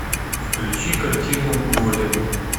включи картину голем